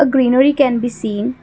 uh greenery can be seen.